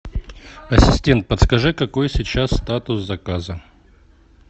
ассистент подскажи какой сейчас статус заказа